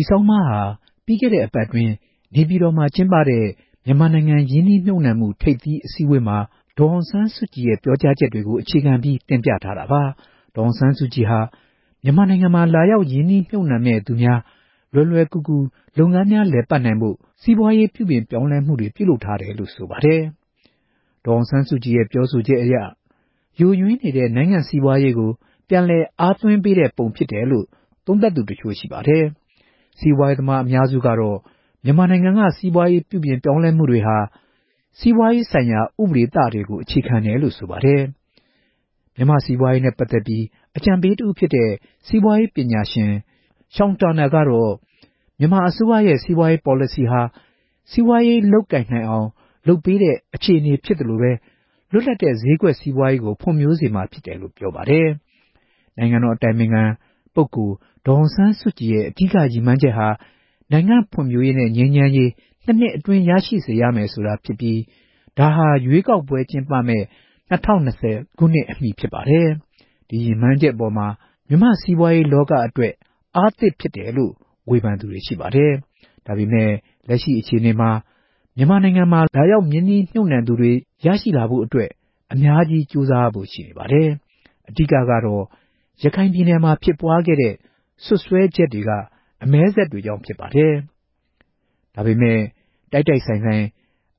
ီဆောင်းပါးဟာ ပြီးခဲ့တဲ့ အပတ်အတွင်း နေပြည်တော်မှာ ကျင်းပတဲ့ မြန်မာနိုင်ငံ ရင်းနှီးမြှုပ်နှံမှု ထိပ်သီးအစည်းအဝေးမှာ ဒေါ်အောင်ဆန်းစုကြည် ပြောကြားချက်ကို အခြေခံပြီး တင်ပြထားတာပါ။ ဒေါ်အောင်ဆန်းစုကြည်က မြန်မာနိုင်ငံမှာ လာရောက်ရင်းနှီးမြှုပ်နှံမယ့်သူများ လွယ်လွယ်ကူကူ လုပ်ငန်းများ လည်ပတ်နိုင်ဖို့ ပြုပြင်ပြောင်းလဲမှုတွေ ပြုလုပ်ထားတယ်လို့ ဆိုပါတယ်။ ဒေါ်အောင်ဆန်းစုကြည်ရဲ့ ပြောဆိုချက်တွေအရ ယိုယွင်းကျဆင်းနေတဲ့ နိုင်ငံစီးပွားရေးကို ပြန်လည်အားသွင်းပေးတဲ့ ပုံဖြစ်တယ်လို့ သုံးသပ်သူတချို့ ရှိပါတယ်။ စီးပွားရေးသမားအများစုကတော့ မြန်မာနိုင်ငံက စီးပွားရေးပြုပြင်မှုတွေဟာ စီးပွားရေးဆိုင်ရာ ဥပဒေသတွေကို အခြေခံတယ်လို့ ဆိုပါတယ်။ မြန်မာ့စီးပွားနဲ့ ပတ်သက်ပြီး အကြံပေးတစ်ဦးဖြစ်တဲ့ စီးပွားရေးပညာရှင် Sean Turnell ကတော့ မြန်မာအစိုးရဲ့ စီးပွားရေးပေါ်လစီဟာ စီးပွားရေးလုပ်ကိုင်နိုင်အောင်လုပ်ပေးတဲ့ အခြေအနေဖြစ်သလို လွတ်လပ်တဲ့ ဈေးကွက်ကို ဖွံ့ဖြိုးစေ မှာဖြစ်တယ်လို့ ပြောပါတယ်။ နိုင်ငံတော် အတိုင်ပင်ခံပုဂ္ဂိုလ် ဒေါ်အောင်ဆန်းစုကြည်ရဲ့ အဓိက ရည်မှန်းချက်ဟာ နိုင်ငံဖွံ့ဖြိုးရေးနဲ့ ငြိမ်းချမ်းရေး ၂နှစ်အတွင်း ရရှိစေရမယ်ဆိုတာဖြစ်ပြီး ဒါဟာ ရွေးကောက်ပွဲကျင်းပမယ့် ၂၀၂၀ ခုနှစ် အမှီဖြစ်ပါတယ်။ ဒီရည်မှန်းချက်အပေါ်မှာ မြန်မာနိုင်ငံက စီးပွားရေးလောကအတွက် အင်အားသစ်ဖြစ်တယ်လို့ ဝေဖန်သူတွေရှိတယ်။ ဒါပေမဲ့ လက်ရှိအခြေအနေမှာ မြန်မာနိုင်ငံမှာ လာရောက်ရင်းနှီးမြှုပ်နှံသူတွေ ရရှိဖို့အတွက် အများကြီး ကြိုးစားရဖို့ ရှိတယ်လို့ ဆိုပါတယ်။ အဓိက ကတော့ ရခိုင်ပြည်နယ်မှာ ဖြစ်ပွားခဲ့တဲ့ ပြဿနာတွေ အတွက် စွပ်စွဲချက်တွေက မြန်မာနိုင်ငံအတွက် အမဲစက်တွေဖြစ်နေပါတယ်။ ဒါပေမဲ့ တိုက်တိုက်ဆိုင်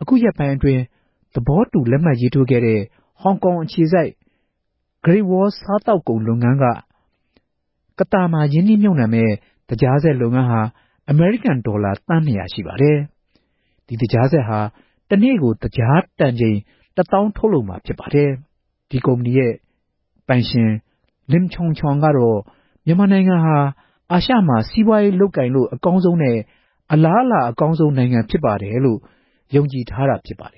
အခုရက်ပိုင်းအတွင်း သဘောတူလက်မှတ်ရေးထိုးခဲ့တဲ့ ဟောင်ကောင်အခြေစိုက် ဂရိတ်ဝေါ စာသောက်ကုန်လုပ်ငန်းက ကသာမြို့နယ်အတွင်းမှာ ရင်းနှီးမြှုပ်နှံ တည်ဆောက်မယ့် သကြားစက်လုပ်ငန်းဟာ အမေရိကန်ဒေါ်လာ သန်း၂၀၀ ရှိပါတယ်။ ဒီသကြားစက်ကနေ့ တစ်နေ့ကို သကြားတန်ချိန်တစ်သောင်း ထုတ်လုပ်မှာဖြစ်ပါတယ်။ ဒီကုမ္ပဏီ ပိုင်ရှင် Lim Chong Chong ကတော့ မြန်မာနိုင်ငံဟာ အာရှမှာ စီးပွားရေးလုပ်ကိုင်လို့ အကောင်းဆုံး နဲ့ အလားအလာအကောင်းဆုံး နိုင်ငံဖြစ်ပါတယ်လို့ ယုံကြည်ထားတာဖြစ်ပါတယ်